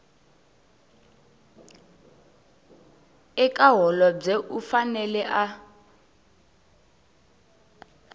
eka holobye u fanele a